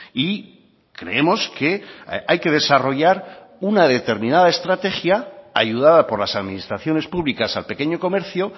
y creemos que hay que desarrollar una determinada estrategia ayudada por las administraciones públicas al pequeño comercio